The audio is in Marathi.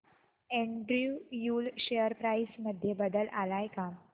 एंड्रयू यूल शेअर प्राइस मध्ये बदल आलाय का